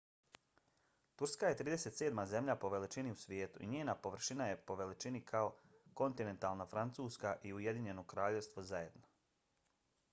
turska je 37. zemlja po veličini u svijetu i njena površina je po veličini kao kontinentalna francuska i ujedinjeno kraljevstvo zajedno